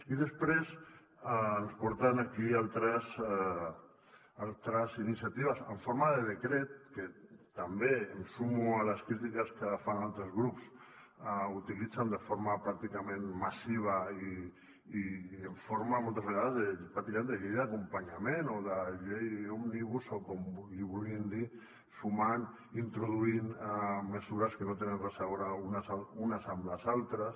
i després ens porten aquí altres iniciatives en forma de decret que també em sumo a les crítiques que fan altres grups utilitzen de forma pràcticament massiva i en forma moltes vegades pràcticament de llei d’acompanyament o de llei òmnibus o com li vulguin dir sumant introduint mesures que no tenen res a veure les unes amb les altres